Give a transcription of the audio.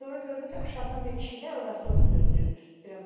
Sonra gördüm ki, aşağıdan bir kişi gəlir, o da avtobus gözləyirmiş, biraz qabaqdan.